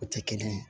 O tɛ kelen ye